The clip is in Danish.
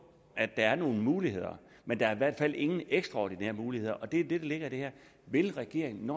at der er nogle muligheder men der er i hvert fald ingen ekstraordinære muligheder og det er det der ligger i det her vil regeringen